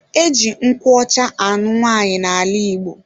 Eji nkwụ ọcha anụ nwaanyi na ala igbo.